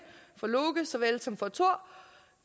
for loke såvel som for thor